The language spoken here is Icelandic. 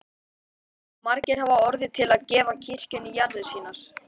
Og margir hafa orðið til að gefa kirkjunni jarðir sínar.